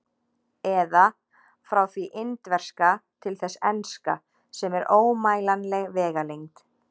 Eða: frá því indverska til þess enska, sem er ómælanleg vegalengd.